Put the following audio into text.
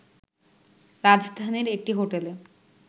রাজধানীর একটি হোটেলে